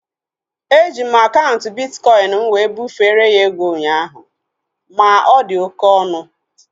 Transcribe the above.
Eji m akaụntụ bitkọin m wee bufere ya ego ụnyaahụ ma ọ dị oké ọnụ